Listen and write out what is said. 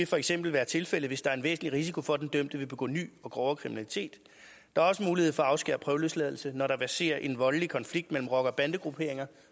for eksempel være tilfældet hvis der er en væsentlig risiko for at den dømte vil begå ny og grovere kriminalitet der er også mulighed for at afskære prøveløsladelse når der verserer en voldelig konflikt mellem rocker bande grupperinger